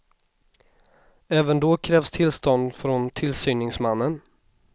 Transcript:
Även då krävs tillstånd från tillsyningsmannen.